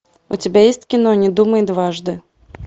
у тебя есть кино не думай дважды